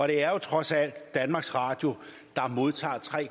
det er jo trods alt danmarks radio der modtager tre